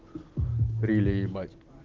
крылья ебать